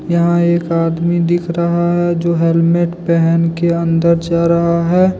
यहां एक आदमी दिख रहा है जो हेलमेट पहन के अंदर जा रहा है।